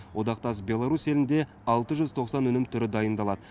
одақтас беларусь елінде алты жүз тоқсан өнім түрі дайындалады